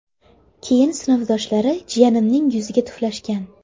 Keyin sinfdoshlari jiyanimning yuziga tuflashgan”.